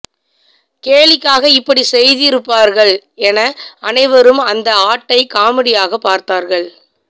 கேலிக்காக இப்படி செய்திருப்பார்கள் என அனைவரும் அந்த ஆட்டை காமெடியாக பார்த்தார்கள்